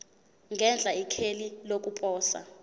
ngenhla ikheli lokuposa